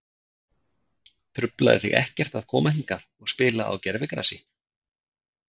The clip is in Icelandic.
Truflaði þig ekkert að koma hingað og spila á gervigrasi?